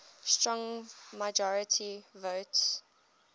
strong majority votes